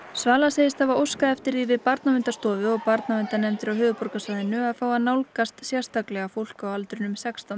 svala segist hafa óskað eftir því við Barnaverndarstofu og barnaverndarnefndir á höfuðborgarsvæðinu að fá að nálgast sérstaklega fólk á aldrinum sextán